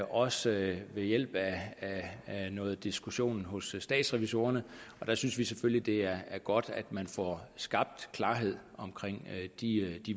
også ved hjælp af noget diskussion hos statsrevisorerne og der synes vi selvfølgelig det er godt at man får skabt klarhed om de